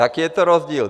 Jaký je to rozdíl?